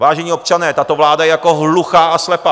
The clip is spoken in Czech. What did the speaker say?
Vážení občané, tato vláda je jako hluchá a slepá.